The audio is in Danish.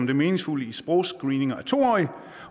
det meningsfulde i sprogscreeninger af to årige